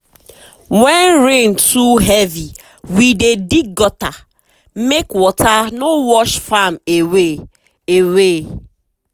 when rain too heavy we dey dig gutter make water no wash farm away. away.